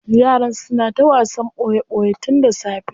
Yaran suna ta wasan boye boye tun da safe.